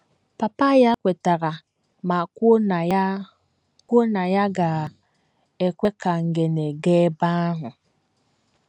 Papa ya kwetara ma kwuo na ya kwuo na ya ga - ekwe ka Ngene gaa ebe ahụ.